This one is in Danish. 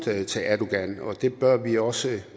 til erdogan og det bør vi også